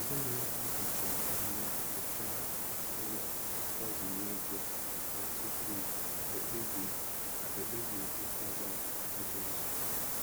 Ezinụlọ ahụ ji ndo anya nyochaa nhọrọ mgbazinye ego ha tupu ha ekpebie ha ekpebie ịkwaga ebe ọzọ.